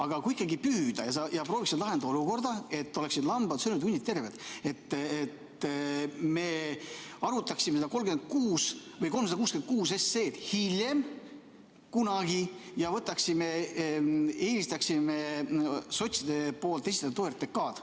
Aga kui ikkagi püüda ja sa prooviksid lahendada olukorda, et oleksid hundid söönud ja lambad terved, siis äkki me arutaksime seda 366 SE‑d kunagi hiljem ja eelistaksime sotside esitatud OTRK‑d?